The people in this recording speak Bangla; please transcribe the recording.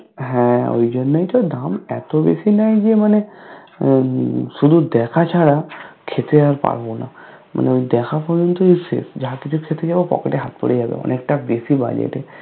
হ্যা ঐজন্যই তো দাম এত বেশি নেই যে মানে উম উম শুধু দেখা ছাড়া খেতে আর পারবো না মানে ওই দেখা পর্যন্তই শেষ যা কিছু খেতে যাবো pocket এ হাত পুড়ে যাবে অনেকটা বেশি budget